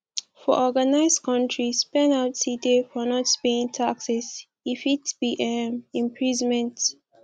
for organised countries penalty dey for not paying taxes e fit be um imprisonment